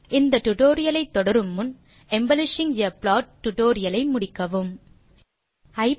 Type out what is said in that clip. இந்த டியூட்டோரியல் ஐ தொடரும் முன் எம்பெலிஷிங் ஆ ப்ளாட் டியூட்டோரியல் ஐ முடிக்குமாறு கேட்டு கொள்கிறோம்